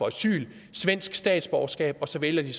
asyl svensk statsborgerskab og så vælger de